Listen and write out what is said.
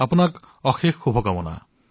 ধন্যবাদ অশেষ ধন্যবাদ